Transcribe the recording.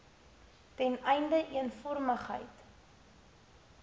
ten einde eenvormigheid